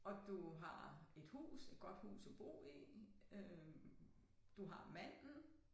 Og du har et hus et godt hus at bo i øh du har manden